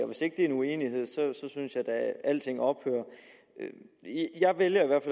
hvis ikke det er uenighed synes jeg da alting ophører jeg vælger i hvert